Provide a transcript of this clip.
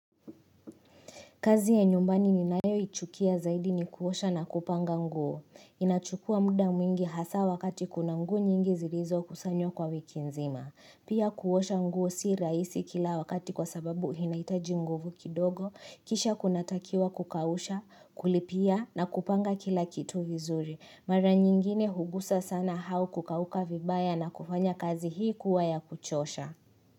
Kazi ya nyumbani ninayoichukia zaidi ni kuosha na kupanga nguo. Inachukua muda mwingi hasa wakati kuna nguo nyingi zilizo kusanywa kwa wiki nzima. Pia kuosha nguo si rahisi kila wakati kwa sababu inahitaji nguvu kidogo. Kisha kunatakiwa kukausha, kulipia na kupanga kila kitu vizuri. Mara nyingine hugusa sana au kukauka vibaya na kufanya kazi hii kuwa ya kuchosha.